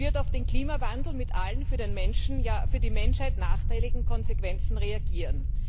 Sie wird auf den Klimawandel mit allen für den Menschen, ja für die Menschheit nachteiligen Konsequenzen reagieren.